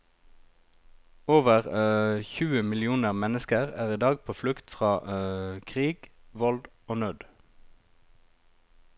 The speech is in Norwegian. Over tjue millioner mennesker er i dag på flukt fra krig, vold og nød.